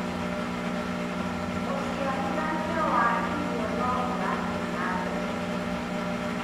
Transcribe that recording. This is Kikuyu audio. ucirithanĩa wa irio no ũrathii na mbere